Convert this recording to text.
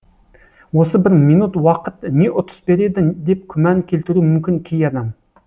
осы бір минут уақыт не ұтыс береді деп күмән келтіруі мүмкін кей адам